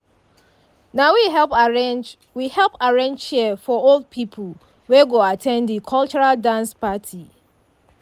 na we help arrange we help arrange chair for old pipu wey go at ten d de cultural dance parti.